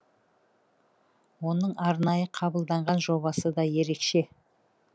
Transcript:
оның арнайы қабылданған жобасы да ерекше